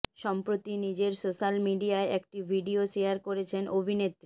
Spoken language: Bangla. সম্প্রতি নিজের সোশ্যাল মিডিয়ায় একটি ভিডিও শেয়ার করেছেন অভিনেত্রী